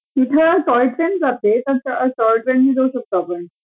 तिथे अ toy train जाते मग टॉय ट्रेनने जाऊ शकतो आपण